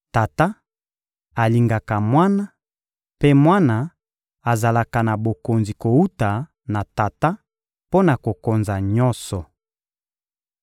Tata alingaka Mwana, mpe Mwana azalaka na bokonzi kowuta na Tata mpo na kokonza nyonso.